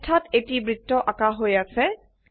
পৃষ্ঠাযত এটি বৃত্ত আঁকা হয় আছে